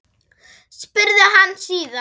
spurði hann síðan.